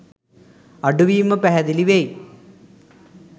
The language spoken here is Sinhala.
අඩුවීම පැහැදිලි වෙයි.